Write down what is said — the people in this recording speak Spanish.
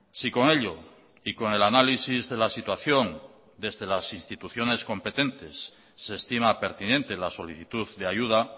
si con ello y con el análisis de la situación desde las instituciones competentes se estima pertinente la solicitud de ayuda